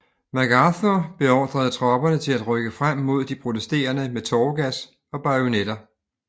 MacArthur beordrede tropperne til at rykke frem mod de protesterende med tåregas og bajonetter